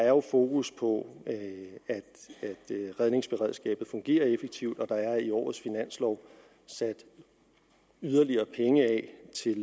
er fokus på at redningsberedskabet fungerer effektivt der er i årets finanslov sat yderligere penge af